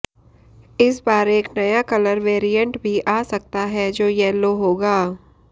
इस बार एक नया कलर वेरिएंट भी आ सकता है जो यलो होगा